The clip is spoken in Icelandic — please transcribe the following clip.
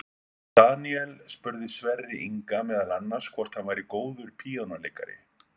Björn Daníel spurði Sverri Inga meðal annars hvort hann væri góður píanóleikari.